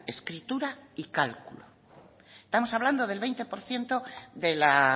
escritura y cálculo estamos hablando del veinte por ciento de la